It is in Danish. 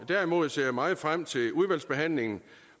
derimod ser jeg meget frem til udvalgsbehandlingen